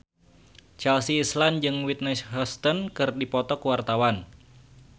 Chelsea Islan jeung Whitney Houston keur dipoto ku wartawan